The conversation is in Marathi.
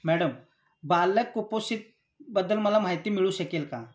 मॅडम, बालक कुपोषितबद्दल मला माहिती मिळू शकेल का?